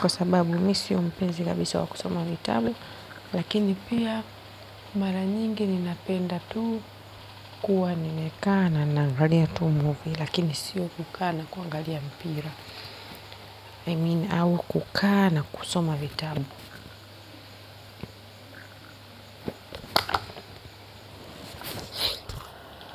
kwa sababu mimi sio mpenzi kabisa wa kusoma vitabu lakini pia, mara nyingi ninapenda tu kuwa nimekaa ninaangalia tu movie, lakini si kukaa ninaangalia mpira au kukaa na kusoma vitabu.